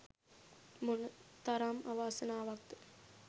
මොනතරම් අවාසනාවක්ද?